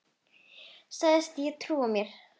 Sagðist ekki trúa mér.